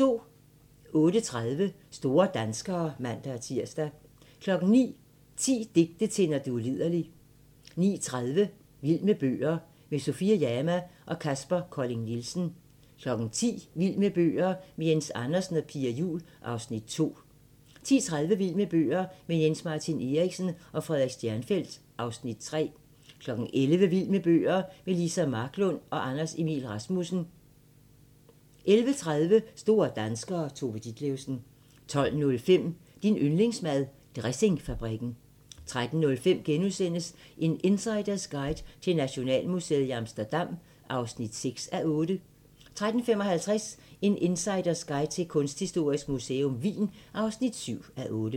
08:30: Store danskere (man-tir) 09:00: 10 digte til, når du er liderlig 09:30: Vild med bøger - med Sofie Jama og Kaspar Colling Nielsen 10:00: Vild med bøger - med Jens Andersen og Pia Juul (Afs. 2) 10:30: Vild med bøger - med Jens-Martin Eriksen og Frederik Stjernfelt (Afs. 3) 11:00: Vild med bøger - med Liza Marklund og Anders Emil Rasmussen 11:30: Store danskere - Tove Ditlevsen 12:05: Din yndlingsmad: Dressingfabrikken 13:05: En insiders guide til Nationalmuseet i Amsterdam (6:8)* 13:55: En insiders guide til Kunsthistorisk Museum Wien (7:8)